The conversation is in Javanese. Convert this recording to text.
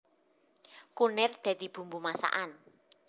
Kunir dadi bumbu masakan